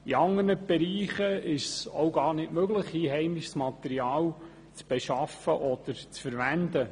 In anderen Bereichen ist es auch gar nicht möglich, einheimisches Material zu beschaffen oder zu verwenden.